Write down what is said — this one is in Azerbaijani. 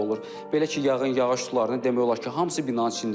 Belə ki, yağın yağış sularının demək olar ki, hamısı binanın içindədir.